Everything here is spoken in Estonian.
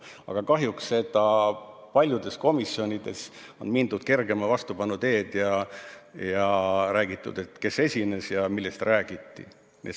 Aga kahjuks on paljudes komisjonides mindud kergema vastupanu teed ja öeldud, kes esines ja millest räägiti.